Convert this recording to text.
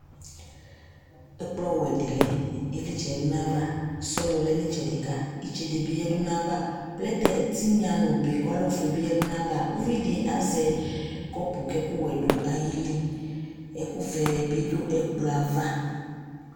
Ɛkplɔwɛ dɩ lɛ, ɩvlɩtsɛ yǝdu nʋ ayava Sɔlɔ lɛ nʋ ɩtsɛdɩ ka, itsede bɩ yǝdu nʋ ayava Plɛtɛ ɛtɩnya nʋ obe kʋ ɔlɛ ofue bɩ yǝdu nʋ ayava Uvi dɩ azɛ kɔpʋ kʋ ɛkʋwɛ dʋ ayili Ɛkʋvɛ bɩ dʋ ɛkplɔ yɛ ava